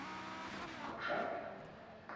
кокшаров